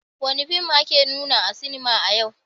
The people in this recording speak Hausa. Wani fim ne ake nuna a sinema a yau?